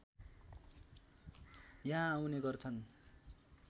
यहाँ आउने गर्छन्